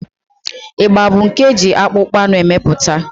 Ịgba bụ nke eji akpụkpọ anụ emepụta.